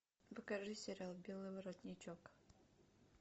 покажи сериал белый воротничок